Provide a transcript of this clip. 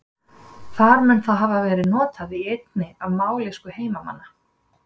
Þar mun það hafa verið notað í einni af mállýskum heimamanna.